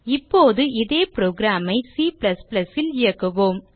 இப்போது இதே புரோகிராம் ஐ C ல் இயக்குவோம்